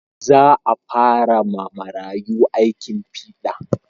Za a fara ma marayu aikin fiɗa